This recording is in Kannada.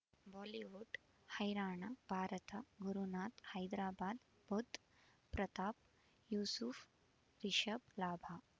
ಬಾಲಿವುಡ್ ಹೈರಾಣ ಭಾರತ ಗುರುನಾಥ ಹೈದರಾಬಾದ್ ಬುಧ್ ಪ್ರತಾಪ್ ಯೂಸುಫ್ ರಿಷಬ್ ಲಾಭ